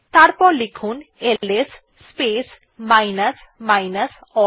এরপর লিখুন L S space minus minus all